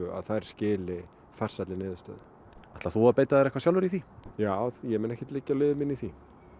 að þær skili farsælli niðurstöðu ætlar þú að beita þér eitthvað sjálfur í því já ég mun ekki liggja á liði mínu í því